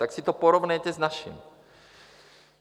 Tak si to porovnejte s naším.